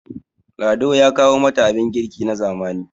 lado ya kawo mata abin girki na zamani